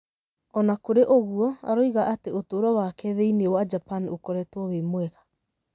O na kũrĩ ũguo, aroiga atĩ ũtũũro wake thĩinĩ wa Japan ũkoretwo wĩ mwega.